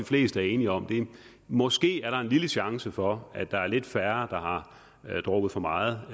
fleste er enige om måske er der en lille chance for at der er lidt færre der har drukket for meget